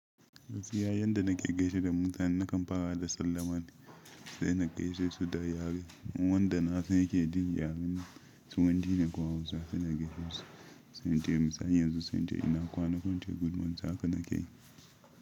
Gaskiya yadda na ke gaishe da mutane na kam fara nai da sallama sai na gaishe su da yare, wanda na sanshi ɗin yaren su, wanda ina kuma hausa na gaishe su sai na ce misali yanzu sai na ce ina kwana ko ince good morning haka na kai.